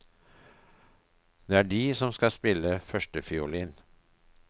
Det er de som skal spille førstefiolin.